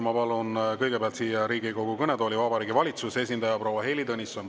Ma palun kõigepealt Riigikogu kõnetooli Vabariigi Valitsuse esindaja proua Heili Tõnissoni.